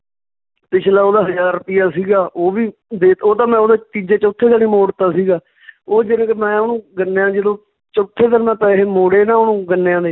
ਪਿੱਛਲਾ ਉਹਦਾ ਹਜਾਰ ਰੁਪਈਆ ਸੀਗਾ ਉਹ ਵੀ ਦੇ, ਉਹ ਤਾਂ ਮੈਂ ਉਹਦਾ ਤੀਜੇ ਚੌਥੇ ਦਿਨ ਹੀ ਮੋੜਤਾ ਸੀਗਾ ਉਹ ਜਾਣੀ ਕਿ ਮੈਂ ਓਹਨੂੰ ਗੰਨਿਆਂ ਜਦੋਂ ਚੌਥੇ ਦਿਨ ਮੈਂ ਪੈਸੇ ਮੌੜੇ ਨਾ ਓਹਨੂੰ ਗੰਨਿਆਂ ਦੇ